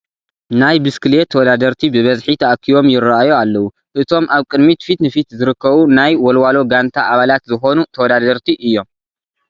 ናይ ብስክሌት ተወዳደርቲ ብብዝሒ ተኣኪቦም ይርአዩ ኣለዉ፡፡ እቶም ኣብ ቅድሚት ፊት ንፊት ዝርከቡ ናይ ወልዋሎ ጋንታ ኣባላት ዝኾኑ ተወዳዳርቲ እዮ፡፡